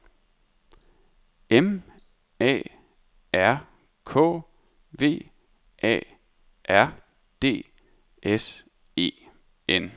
M A R K V A R D S E N